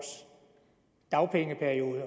dagpengeperiode